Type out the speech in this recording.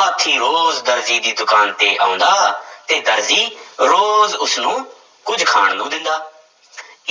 ਹਾਥੀ ਰੋਜ਼ ਦਰਜੀ ਦੀ ਦੁਕਾਨ ਤੇ ਆਉਂਦਾ ਤੇ ਦਰਜੀ ਰੋਜ਼ ਉਸਨੂੰ ਕੁੱਝ ਖਾਣ ਨੂੰ ਦਿੰਦਾ